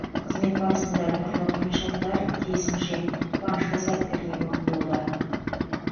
қызмет барысында түрлі қиыншылықтар тиісінше қуанышты сәттер де көп болды